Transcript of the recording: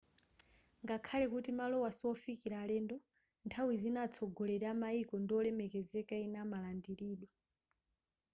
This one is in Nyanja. ngakhale kuti malowa siofikila alendo nthawi zina atsogoleri a maiko ndi olemekezeka ena amalandilidwa